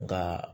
Nka